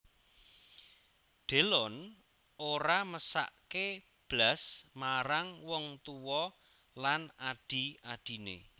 Delon ora mesakke blas marang wong tuwa lan adhi adhine